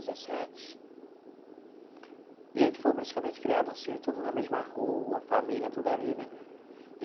Dezessete e a gente foi praticamente criado assim, tudo na mesma rua, família, tudo ali, né?